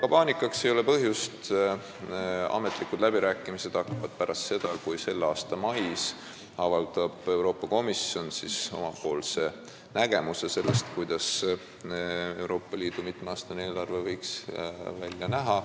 Paanikaks ei ole põhjust, sest ametlikud läbirääkimised hakkavad pärast seda, kui Euroopa Komisjon avaldab selle aasta mais oma nägemuse sellest, kuidas võiks Euroopa Liidu mitmeaastane eelarve välja näha.